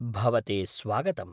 भवते स्वागतम्।